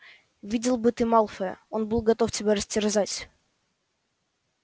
видел бы ты малфоя он был готов тебя растерзать